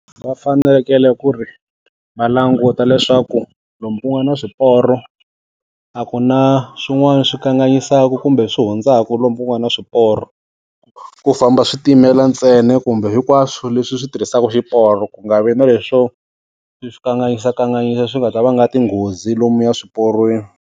Va fanekele ku ri, va languta leswaku lomu ku nga na swiporo, a ku na swin'wana swi kanganyisaka kumbe swi hundzaku lomu ku nga na swiporo. Ku famba switimela ntsena kumbe hinkwaswo leswi swi tirhisaka xiporo ku nga vi na leswo, swi kanganyisakanganyisa swi nga ta va nga tinghozi lomuya swiporweni.